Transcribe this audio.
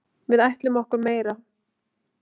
Við ætlum okkur meira.